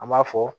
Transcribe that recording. An b'a fɔ